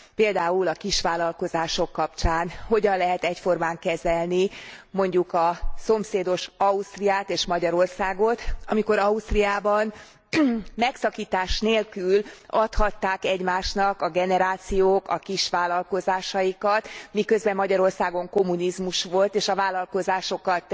Például a kisvállalkozások kapcsán hogyan lehet egyformán kezelni, mondjuk a szomszédos Ausztriát és Magyarországot, amikor Ausztriában megszakítás nélkül adhatták egymásnak a generációk a kisvállalkozásaikat, miközben Magyarországon kommunizmus volt, és a vállalkozásokat